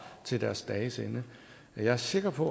til deres dages ende jeg er sikker på